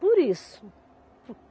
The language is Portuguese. Por isso.